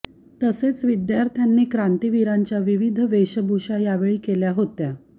तसेच विद्यार्थ्यांनी क्रांतीविरांच्या विविध वेषभूषा यावेळी केल्या होत्या